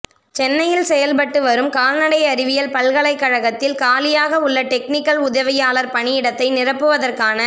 சென்னையில் செயல்பட்டு வரும் கால்நடை அறிவியல் பல்கலைக்கழகத்தில் காலியாக உள்ள டெக்னிக்கல் உதவியாளர் பணியிடத்தை நிரப்புவதற்கான